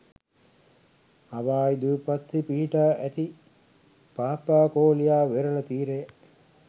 Hawaii දූපත්හි පිහිටා ඇති පාපාකෝලියා වෙරළ තිරය